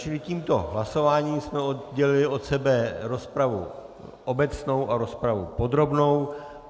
Čili tímto hlasováním jsme oddělili od sebe rozpravu obecnou a rozpravu podrobnou.